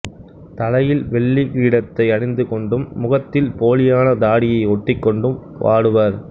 தலையில் வெள்ளி கிரீடத்தை அணிந்து கொண்டும் முகத்தில் போலியான தாடியை ஒட்டிக் கொண்டும் ஆடுவர்